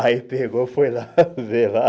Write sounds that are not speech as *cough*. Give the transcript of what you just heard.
*laughs* Aí pegou, foi lá, veio lá.